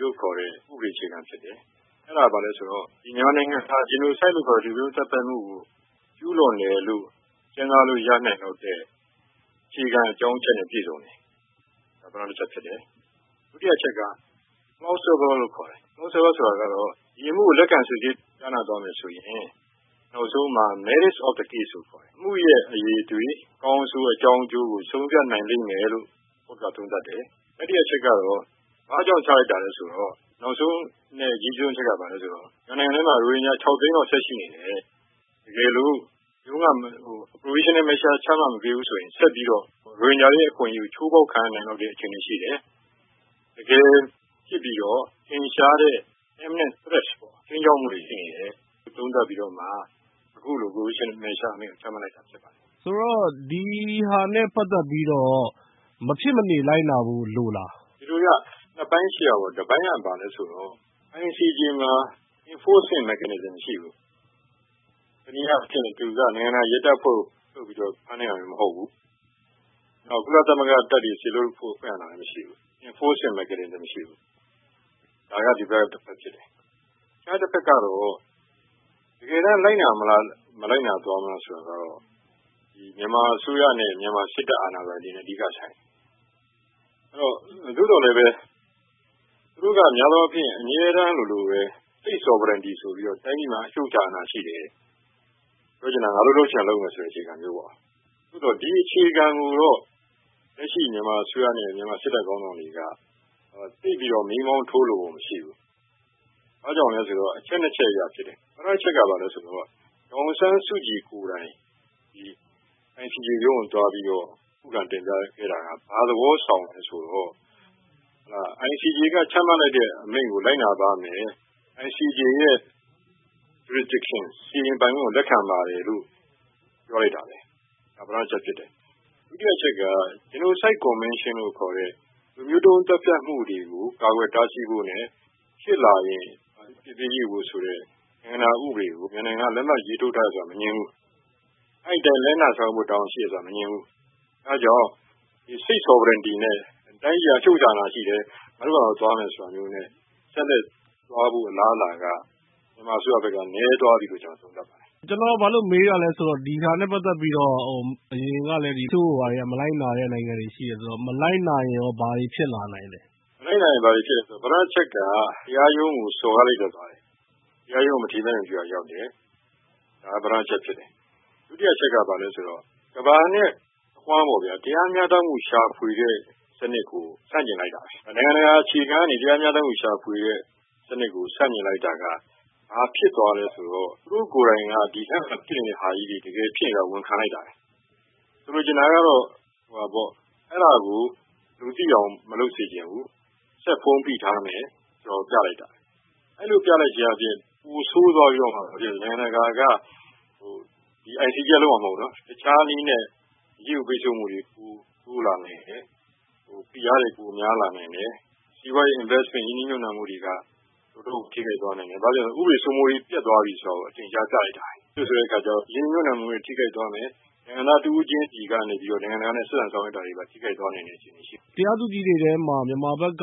လို့ခေါ်တဲ့ ဥပဒေအခြေခံဖြစ်တယ်။ အဲဒါဘာလဲဆိုတော့ မြန်မာနိုင်ငံဟာ Genocide လို့ခေါ်တဲ့ လူမျိုးတုံးသတ်ဖြတ်မှုကို ကျူးလွန်တယ်လို့ စဉ်းစားလို့ရနိုင်လောက်တဲ့ အခြေခံအကြောင်းအချက်နဲ့ ပြည့်စုံတယ်။ ဒုတိယအချက်က Plausible လို့ခေါ်တယ်။ ဒီအမှုကို လက်ခံစစ်ဆေးကြားနာသွားမယ်ဆိုရင် နောက်ဆုံးမှာ Merit of the case လို့ခေါ်တယ် အမှုအရည်အသွေး ၊ အကောင်းအဆိုး အကြောင်းအကျိုးကို ဆုံးဖြတ်နိုင်လိမ့်မယ်လို့ တရားရုံးက သုံးသပ်တယ်။ တတိယအချက်ကတော့ ဘာကြောင့်ချလိုက်တာလဲဆိုတော့ မြန်မာနိုင်ငံထဲမှာ ရိုဟင်ဂျာ ၆ သိန်းလောက် ဆက်ရှိနေတယ်။ တကယ်လို့ provisional measure မချမှတ်ပေးဘူးဆိုရင် ဆက်ပြီးတော့ ရိုဟင်ဂျာအခွင့်အရေးတွေ ချိုးဖောက်ခံနေရဖွယ်ရှိနေတယ်။ တကယ်ဖြစ်ပြီးတော့ ထင်ရှားတဲ့ imminent threat တွေဖြစ်တာတွေ သုံးသပ်ပြီးတော့ အခုလို provisional measure ချပေးလိုက်တာဖြစ်ပါတယ်။ ဆိုတော့ ဒါနဲ့ ပတ်သက်ပြီးတော့ မဖြစ်မနေလိုက်နာဖို့ လိုသလား။ ဒီလိုဗျ ၂ ပိုင်းရှိတာပေါ့ တပိုင်းက ဘာလဲဆိုတော့ ICJ မှာ enforcement mechanism မရှိဘူး။ တနည်းအားဖြင့် သူက နိုင်ငံတကာ ရဲတပ်ဖွဲ့လိုမျိုး ဖမ်းတာမဟုတ်ဘူး။ နောက် ကုလ တပ်တွေ စေလွှတ်ဖို့ အခွင့်အာဏာလည်းမရှိဘူး။ enforcement mechanism မရှိဘူး။ ဒါက ဒီဘက်ကတပိုင်းဖြစ်တယ်။ တခြားတဘက်ကတော့ တကယ် လိုက်နာသွားမလား မလိုက်နာဘူးလားဆိုတာကတော့ မြန်မာအစိုးရနဲ့ မြန်မာစစ်တပ်အာဏာပိုင်တွေနဲ့ အဓိကဆိုင်ပါတယ်။ သို့သော်လည်းပဲ သူတို့က အမြဲတမ်း state sovereignty ဆိုပြီးတော့ တိုင်းပြည်အချုပ်အခြာအာဏာရှိတယ်။ ပြောချင်တာက ငါတို့လုပ်ချင်တာ လုပ်မယ်ဆိုတာမျိုးပေါ့ ။ သို့သော် ဒီအခြေခံကိုတော့ လက်ရှိ မြန်မာအစိုးရနဲ့ မြန်မာစစ်တပ်ခေါင်းဆောင်တွေက သိပ်ပြီးတော့ မီးမောင်ထိုးလိုပုံမရှိဘူး။ ဘာကြောင့်လဲဆိုတော့ အချက် ၂ ချက်အရဖြစ်တယ်။ ပထမအချက်က ဘာလဲဆိုတော့ ဒေါ်အောင်ဆန်းစုကြည် ကိုယ်တိုင် ဒီ ICJ ရုံးကို သွားပြီးတော့ ခုခံတင်ပြခဲ့တာက ဘာသဘောဆောင်သလဲဆိုတော့ ICJ က ချမှတ်လိုက်တဲ့အမိန့်ကို လိုက်နာပါ့မယ် ။ ICJ ရဲ့ Jurisdiction စီရင်ပိုင်ခွင့်ကို လက်ခံပါတယ်လို့ ပြောလိုက်တာပါပဲ။ ဒါက ပထမအချက်ဖြစ်တယ်။ ဒုတိယအချက်က Genocide Convention လို့ခေါ်တဲ့ လူမျိုးတုံးသတ်ဖြတ်မှုတွေကို ကာကွယ်တားဆီးဖို့နဲ့ ဖြစ်လာရင် အပြစ်ပေးအရေးယူဖု့ိဆိုတဲ့ နိုင်ငံတကာဥပဒေကို မြန်မာက လက်မှတ်ရေးထိုးထားတယ်ဆိုတာ မငြင်းဘူး။ အဲဒီအတိုင်း လိုက်နာဆောင်ရွက်ဖို့ တာဝန်ရှိတယ်ဆိုတာ မငြင်းဘူး။ အဲဒါကြောင့် State Sovereignty ဆိုပြီးတော့ တိုင်းပြည်အချုပ်အခြာအာဏာရှိတယ် ငါတို့ဟာငါတို့ သွားမယ်ဆိုတာမျိုးနဲ့ ဆက်လက်သွားဖို့ အလားအလာက မြန်မာအစိုးရဘက်က နည်းသွားတယ်လို့ ကျနော်သုံးသပ်ပါတယ်။ ကျနော်ဘာလို့ မေးသလဲဆိုတော့ ဒါနဲ့ ပတ်သက်ပြီးတော့ အရင်ကလည်း မလိုက်နာတဲ့ တချို့နိုင်ငံတွေရှိတယ်ဆိုတော့ မလိုက်နာရင်ရော ဘာတွေဖြစ်လာနိုင်သလဲ။ မလိုက်နာရင်ရော ဘာတွေဖြစ်လာနိုင်သလဲဆိုတော့ ပထမအချက်က တရားရုံးကို စော်ကားသလိုဖြစ်သွားတယ်။ မထီမဲ့မြင်ပြုတာဖြစ်သွားတယ်။ ဒုတိယ အချက်က ကမ္ဘာနဲ့ အဝှမ်းပေါ့ တရားမျှတမှု ရှာဖွေတဲ့စနစ်ကို ဆန့်ကျင်လိုက်တာပဲ။ နိုင်ငံတကာအခြေခံကနေ တရားမျှတမှု ရှာဖွေတဲ့စနစ်ကို ဆန့်ကျင်လိုက်တာ ဘာဖြစ်သွားသလဲဆိုတော့သူတို့ကိုယ်တိုင်က ဒီလို တကယ်ဖြစ်နေတာကို ဝန်ခံလိုက်တာပဲ။ ဆိုလိုချင်တာကတော့ အဲဒါကို လူသိအောင် မလုပ်စေချင်ဘူး ဆက်ပြီး ဖုံးဖိထားမယ်ဆိုတာ ပြလိုက်တာပဲ။ အဲလိုပြလိုက်ခြင်းဖြင့် ပိုဆိုးသွားပြီးတော့ နိုင်ငံတကာက တခြားနည်းနဲ့ အရေးယူပိတ်ဆို့မှုတွေ ပိုတိုးလာမယ်။ ဖိအားတွေပိုများလာနိုင်တယ်။ စီးပွားရေး ရင်းနှီးမြှုပ်နှံမှုတွေက တော်တော်ကို ထိခိုက်လာနိုင်တယ်။ ဘာဖြစ်လို့လဲဆိုတော့ ဥပဒေစိုးမိုးရေး ပျက်သွားပြီဆိုတာကို အထင်ရှားပြလိုက်တာပါပဲ။ ရင်းနှီးမြှုပ်နှံမှုတွေထိခိုက်သွားမယ် နိုင်ငံသားတဦးချင်းစီကနေပြီးတော့ နိုင်ငံတကာနဲ့ ဆက်ဆံဆောင်ရွက်တာတွေ ထိခိုက်သွားနိုင်တယ်။ တရားသူကြီးတွေထဲမှာ မြန်မာဘက်က